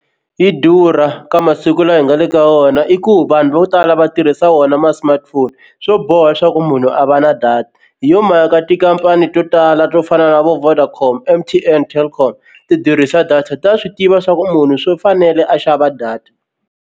Yi durha ka masiku lawa hi nga le ka wona i ku vanhu vo tala va tirhisa wona ma-smartphone swo boha leswaku munhu a va na data hi yo mhaka tikhampani to tala to fana na vo Vodacom, M_T_N, Telkom ti durhisa data ta swi tiva swa ku munhu swo fanele a xava data.